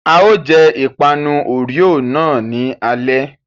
A ó jẹ ìpanu Oreo náà ní alé.